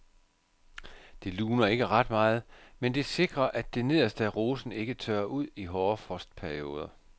Det luner ikke ret meget, men det sikrer at det nederste af rosen ikke tørrer ud i hårde frostperioder.